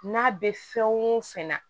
N'a bɛ fɛn o fɛn na